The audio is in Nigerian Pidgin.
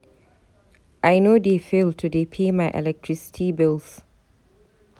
I no dey fail to dey pay my electricity bills.